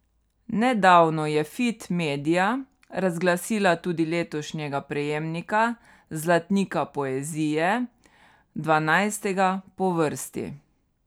Nedavno je Fit media razglasila tudi letošnjega prejemnika Zlatnika poezije, dvanajstega po vrsti.